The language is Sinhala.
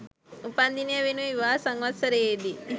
උපන් දිනය වෙනුවෙන් විවාහ සංවත්සරයේදී